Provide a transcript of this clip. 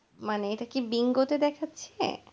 মানে এটা কি বিঙ্গোতে দেখাচ্ছে.